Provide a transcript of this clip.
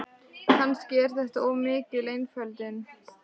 Kannski er þetta of mikil einföldun, ég veit það ekki.